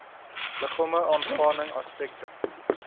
liggame aangaande aspekte